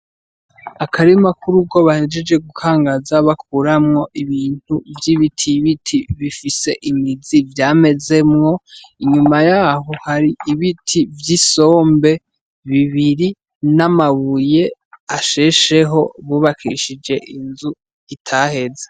Akarima k'urugo bahejeje gukangaza bahejeje gukuramwo Ibintu vy'ibitibiti bifise imizi vyamezemwo, inyuma yaho hari ibiti vy'isombe bibiri n'amabuye ashesheho bubakishije inzu itaheze.